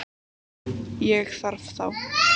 Ég þarf þá.